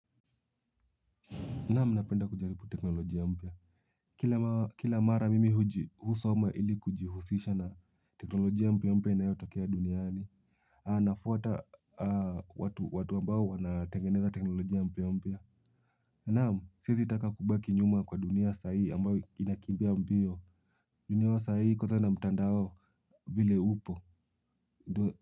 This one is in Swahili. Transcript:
Naam, napenda kujaribu teknolojia mpya. Kila mara mimi husoma ili kujihusisha na teknolojia mpya mpya inayotokea duniani. Anafuata watu ambao wanatengeneza teknolojia mpya mpya. Naam, siwezi taka kubaki nyuma kwa dunia sahii ambayo inakimbia mbio. Dunia wa sahii kwanza na mtandao vile upo.